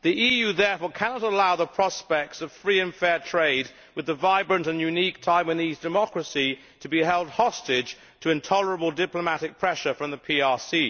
The EU therefore cannot allow the prospects of free and fair trade with the vibrant and unique Taiwanese democracy to be held hostage to intolerable diplomatic pressure from the PRC.